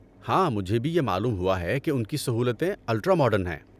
ہاں، مجھے بھی یہ معلوم ہوا ہے کہ ان کی سہولتیں الٹرا ماڈرن ہیں۔